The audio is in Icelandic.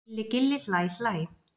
Gilli gilli hlæ hlæ.